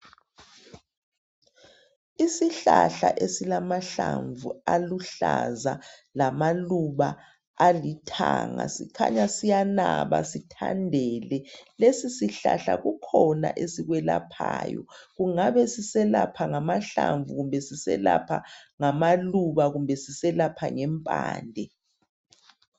Isihlahla esilamahlamvu aluhlaza lamaluba alithanga sikhanya siyanaba sithandele. Lesi sihlahla kukhona esikwelaphayo kungabe siselapha ngamahlamvu, kumbe siselapha ngamaluba kumbe siselapha ngempande.